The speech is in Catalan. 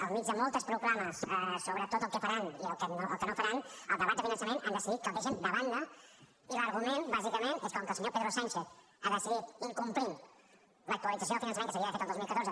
en mig de moltes proclames sobre tot el que faran i el que no faran el debat de finançament han decidit que el deixen de banda i l’argument bàsicament és que com que el senyor pedro sánchez ha decidit incomplint l’actualització del finançament que s’havia d’haver fet el dos mil catorze